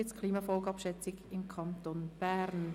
«Klimafolgenabschätzung im Kanton Bern».